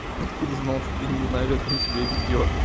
откуда знал что ты не знаешь как он себя ведёт